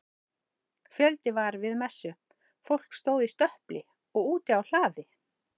Fjöldi var við messu, fólk stóð í stöpli og úti á hlaði.